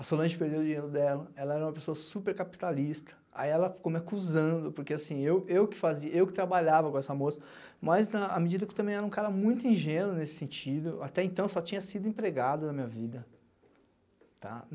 a Solange perdeu o dinheiro dela, ela era uma pessoa super capitalista, aí ela ficou me acusando, porque assim, eu eu que fazia, eu que trabalhava com essa moça, mas a medida que eu também era um cara muito ingênuo nesse sentido, até então só tinha sido empregado na minha vida, tá?